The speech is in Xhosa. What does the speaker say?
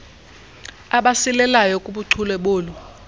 abasilelayo kubuchule bolu